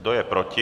Kdo je proti?